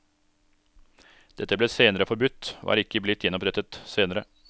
Dette ble senere forbudt, og er ikke blitt gjenopprettet senere.